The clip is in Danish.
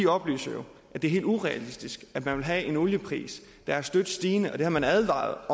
oplyser jo at det er helt urealistisk at man vil have en oliepris der er støt stigende og det har man advaret